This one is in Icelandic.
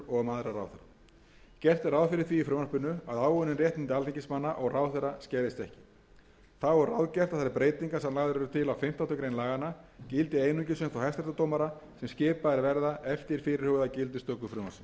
og um aðra ráðherra gert er ráð fyrir því í frumvarpinu að áunnin réttindi alþingismanna og ráðherra skerðist ekki þá er ráðgert að þær breytingar sem lagðar eru til á fimmtándu grein laganna gildi einungis um þá hæstaréttardómara sem skipaðir verða eftir fyrirhugaða gildistöku frumvarpsins þegar hugað